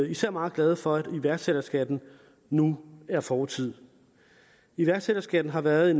især meget glade for at iværksætterskatten nu er fortid iværksætterskatten har været